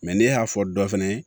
ne y'a fɔ dɔ fɛnɛ ye